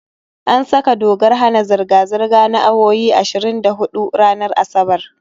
An saka dokar hana zirga-zirga na awowi ashirin da huɗu ranar Asabar